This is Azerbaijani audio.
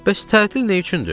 Bəs tətil nə üçündür?